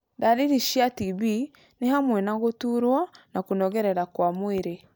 Ndariri cia TB nĩ hamwe na gũturwo na kũnogerera kwa mwĩrĩ.